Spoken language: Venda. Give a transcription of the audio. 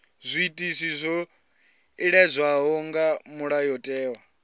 zwiitisi zwo iledzwaho nga mulayotewa